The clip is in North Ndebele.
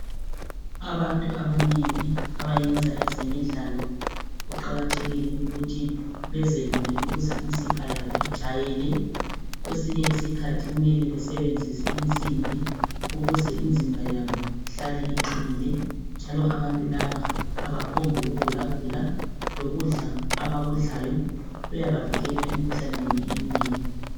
abantu abanengi abayenza ezemidlalo kuqakathekile ukuthi bezelule ukuze imisipha yabo ijayele kwesinye isikhathi kumele besebenzise insimbi ukuze imzimba yabo ihlale iqinile njalo abantu laba abaphombu ukugulagula lokudla abakudlayo kuyabavikela emkhuhlaneni eminenginengi